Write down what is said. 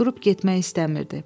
Durub getmək istəmirdi.